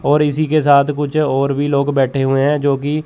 और इसी के साथ कुछ और भी लोग बैठे हुए हैं जोकि--